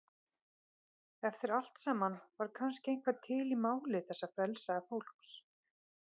Eftir allt saman var kannski eitthvað til í máli þessa frelsaða fólks.